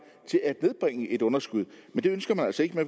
og det